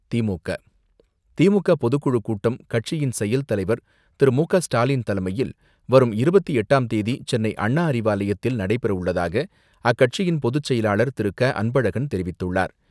தி.மு.க, தி.மு.க பொதுக்குழு கூட்டம் கட்சியின் செயல்தலைவர் திரு.மு.க.ஸ்டாலின் தலைமையில் வரும் இருபத்தி எட்டாம் தேதி சென்னையில் நடைபெறவுள்ளதாக, அக்கட்சியின் பொதுச் செயலாளர் திரு. க. அன்பழகன் தெரிவித்துள்ளார்.